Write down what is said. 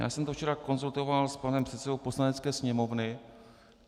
Já jsem to včera konzultoval s panem předsedou Poslanecké sněmovny.